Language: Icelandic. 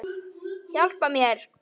Hjálpa mér!